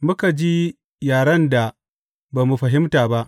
Muka ji yaren da ba mu fahimta ba.